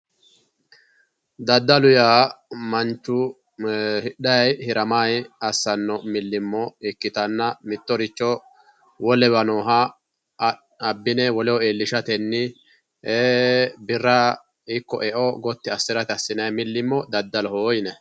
daddalu yaa manchu hidhanni haramanni assanno millimillo ikkitanna mittoricho wolewa nooha abbine woleho iillishatenni ee birra ikko eo gotti assirate assinanni millimillo daddaloho yinanni .